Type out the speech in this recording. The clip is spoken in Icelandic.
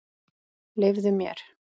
Leyfðu mér!